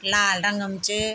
लाल रंग म च ।